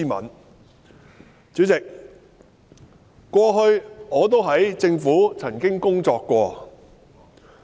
代理主席，我過去曾在政府部門工作。